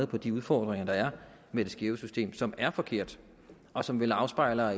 på de udfordringer der er med det skæve system som er forkert og som vel afspejler